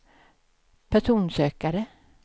personsökare